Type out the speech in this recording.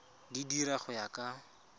di dira go ya ka